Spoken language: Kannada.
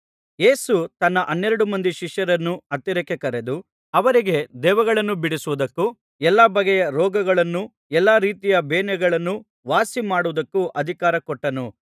ಯೇಸು ತನ್ನ ಹನ್ನೆರಡು ಮಂದಿ ಶಿಷ್ಯರನ್ನು ಹತ್ತಿರಕ್ಕೆ ಕರೆದು ಅವರಿಗೆ ದೆವ್ವಗಳನ್ನು ಬಿಡಿಸುವುದಕ್ಕೂ ಎಲ್ಲಾ ಬಗೆಯ ರೋಗಗಳನ್ನೂ ಎಲ್ಲಾ ರೀತಿಯ ಬೇನೆಗಳನ್ನೂ ವಾಸಿಮಾಡುವುದಕ್ಕೂ ಅಧಿಕಾರ ಕೊಟ್ಟನು